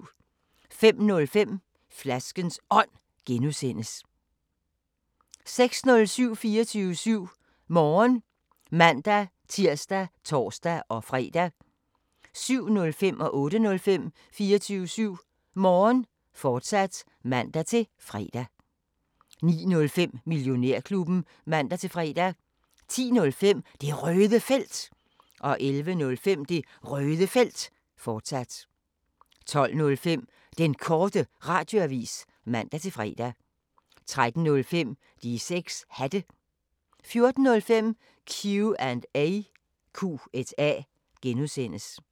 05:05: Flaskens Ånd (G) 06:05: 24syv Morgen (man-tir og tor-fre) 07:05: 24syv Morgen, fortsat (man-fre) 08:05: 24syv Morgen, fortsat (man-fre) 09:05: Millionærklubben (man-fre) 10:05: Det Røde Felt 11:05: Det Røde Felt, fortsat 12:05: Den Korte Radioavis (man-fre) 13:05: De 6 Hatte 14:05: Q&A (G)